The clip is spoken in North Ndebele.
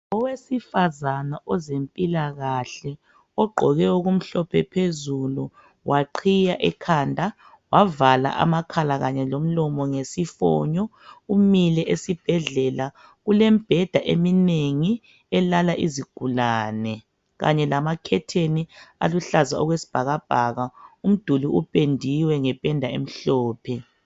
Owesifazana wezempilakahle ogqoke okumhlophe phezulu waqhiya ekhanda wavala amakhala kanye lomlomo ngesifonyo umile esibhedlela kulembheda eminengi elala izigulane kanye lama "curtain" aluhlaza okwesibhakabhaka, umduli upendiwe ngependa emhlophe.